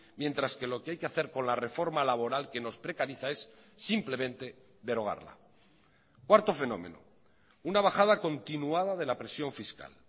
mientras que lo que hay que hacer con la reforma laboral que nos precariza es simplemente derogarla cuarto fenómeno una bajada continuada de la presión fiscal